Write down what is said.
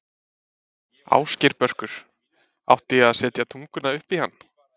Ásgeir Börkur: Átti ég að setja tunguna upp í hann?